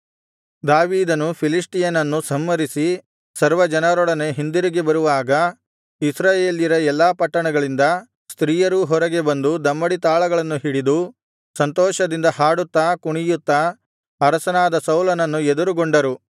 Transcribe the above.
ದಾವೀದನು ಫಿಲಿಷ್ಟಿಯನನ್ನು ಸಂಹರಿಸಿ ಸರ್ವಜನರೊಡನೆ ಹಿಂದಿರುಗಿ ಬರುವಾಗ ಇಸ್ರಾಯೇಲ್ಯರ ಎಲ್ಲಾ ಪಟ್ಟಣಗಳಿಂದ ಸ್ತ್ರೀಯರೂ ಹೊರಗೆ ಬಂದು ದಮ್ಮಡಿತಾಳಗಳನ್ನು ಹಿಡಿದು ಸಂತೋಷದಿಂದ ಹಾಡುತ್ತಾ ಕುಣಿಯುತ್ತಾ ಅರಸನಾದ ಸೌಲನನ್ನು ಎದುರುಗೊಂಡರು